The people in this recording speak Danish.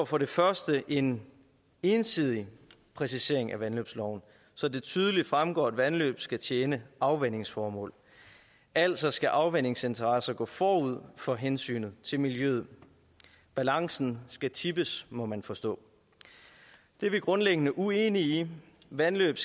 for det første en ensidig præcisering af vandløbsloven så det tydeligt fremgår at vandløb skal tjene afvandingsformål altså skal afvandingsinteresser gå forud for hensynet til miljøet balancen skal tippes må man forstå det er vi grundlæggende uenige i vandløb